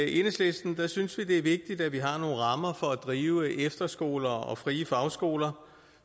enhedslisten synes vi det er vigtigt at vi har nogle rammer for at drive efterskoler og frie fagskoler